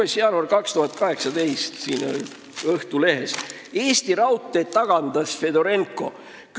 5. jaanuar 2018, Õhtuleht: Eesti Raudtee tagandas Fedorenko.